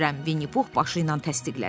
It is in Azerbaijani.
Vinni Pux başı ilə təsdiqlədi.